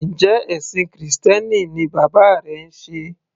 Njẹ́ ẹ̀ṣìn krìstẹ́nì ni bàbá rẹ ń sé?